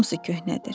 Hamısı köhnədir.